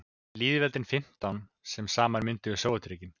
lýðveldin fimmtán sem saman mynduðu sovétríkin